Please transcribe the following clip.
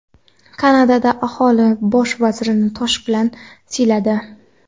Kanadada aholi Bosh vazirni tosh bilan "siyladi".